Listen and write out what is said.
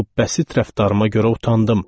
Bu bəsit rəftarıma görə utandım.